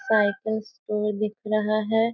Cycle store दिख रहा है।